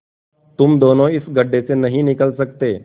तुम दोनों इस गढ्ढे से नहीं निकल सकते